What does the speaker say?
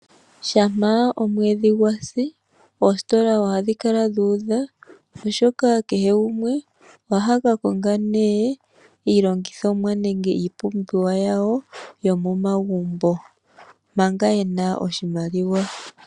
Shampa omwedhi gwa si oositola ohadhi kala dhu udha, oshoka kehe gumwe ohaka konga nee iilongithomwa nenge iipumbiwa yawo yomomagumbo manga ye na oshimaliwa.